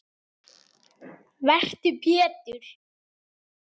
Vertu Pétur.